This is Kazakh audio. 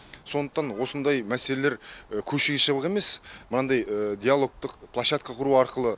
сондықтан осындай мәселелер көшеге шығып емес мынандай диалогтық площадка құру арқылы